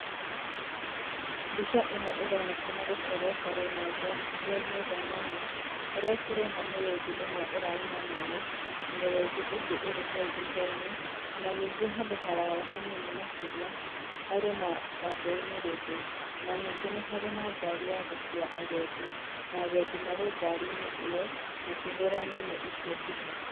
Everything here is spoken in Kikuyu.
Mbica ῖno ῖronekana gῦkorwo ta rῦnyanjarainῖ, rwa nyamῦ kῦrῖa tῦrona mῦrῦthi ῦmwe ῦranyua maῖ, na mῖrῦthi ῖngῖ ῖrῖ ῖrῖ hau thuthainῖ, ona ningῖ handῦ haraya hanini makῖria harῖ na wambui mῖrῖndῦ. Ona ningῖ nῖ harῖ na ngari ya gῦkua agendi, na agendi marῖ ngarinῖ ῖyo makῖhῦra nyamῦ icio mbica.